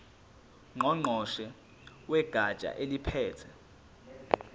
ngqongqoshe wegatsha eliphethe